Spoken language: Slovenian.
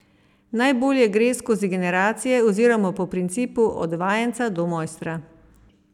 Najbolje gre skozi generacije oziroma po principu od vajenca do mojstra.